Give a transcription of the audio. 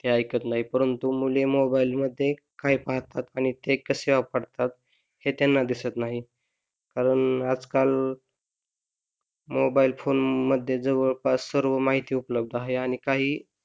ते ऐकत नाही परंतू मुले मोबाईल मध्ये काय पाहतात आणि ते कसे वापरतात हे त्यांना दिसत नाही म्हणून आजकाल मोबाईल फोनमध्ये जवळपास सर्व माहिती उपलब्ध आहे आणि काही